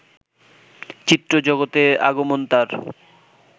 চিত্র জগতে আগমন তার